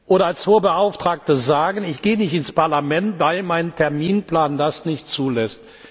oder als Hohe Beauftragte nicht sagen kann, ich gehe nicht ins Parlament, weil mein Terminplan das nicht zulässt.